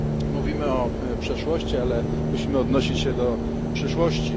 Mówimy o przeszłości, ale musimy odnosić się do przyszłości.